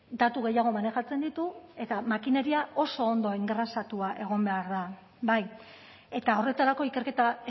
datu gehiago manejatzen ditu eta makineria oso ondo engrasatua egon behar da bai eta horretarako ikerketa